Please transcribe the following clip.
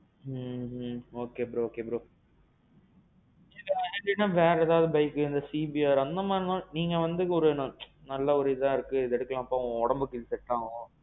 ம்ம். okay bro okay bro. இது இல்லாம வேற இதாவது bike, அந்த CBR அந்த மாறி எல்லாம், நீங்க வந்து ஒரு. நல்ல ஒரு. இதா இருக்கு இத எடுக்கலாம்பா உன் உடம்புக்கு இது செட் ஆகும்.